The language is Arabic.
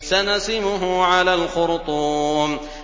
سَنَسِمُهُ عَلَى الْخُرْطُومِ